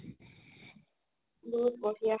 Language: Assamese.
বহুত বহৰিয়া